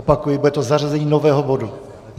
Opakuji - bude to zařazení nového bodu.